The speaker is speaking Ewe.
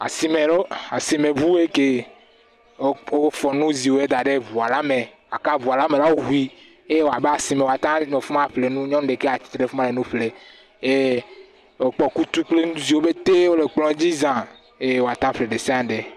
Asime lo. Asimeŋuwoe ke. Wo wofɔ nuziwoe da ɖe ŋuala me. Gaka ŋuala me la woŋui. Eye woa be asime, woata nɔ afi ma aƒle nu. Nyɔnu ɖeka ya tsa tsi tre ɖe fi ma le nu ƒle, yee wòkpɔ kutu kple nu ziwo betee wole kplɔ̃a dzi zã eye woata ƒle ɖe sia ɖe.